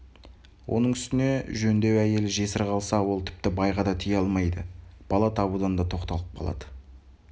оның үстіне жөндеу әйел жесір қалса ол тіпті байға да тие алмайды бала табудан да тоқталып қалады